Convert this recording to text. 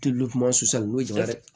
Tulu kuma susa n'o ye juguma dɛ